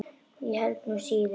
Ég held nú síður.